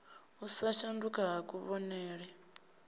u sa shanduka ha kuvhonele